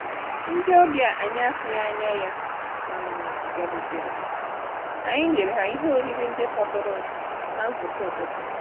Ndị ọbịa anyị na-atụghị anya ya um bịarutere, anyị nyere ha ihe oriri ndị fọdụrụ ná nzukọ ụtụtụ